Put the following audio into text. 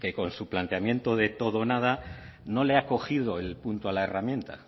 con su planteamiento de todo o nada no le ha cogido el punto a la herramienta